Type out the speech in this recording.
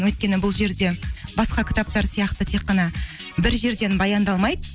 өйткені бұл жерде басқа кітаптар сияқты тек қана бір жерден баяндалмайды